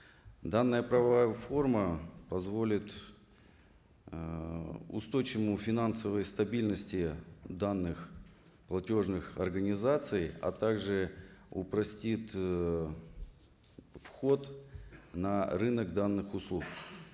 данная правовая форма позволит ыыы финансовой стабильности данных платежных организаций а так же упростит ыыы вход на рынок данных услуг